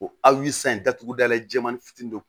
O a yi san in datuguda la jɛmani fitini dɔ don